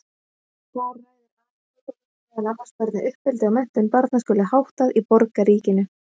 Þar ræðir Aristóteles meðal annars hvernig uppeldi og menntun barna skuli háttað í borgríkinu.